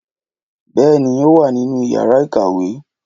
Bèéní, ó wá nínú yàrá ìkàwé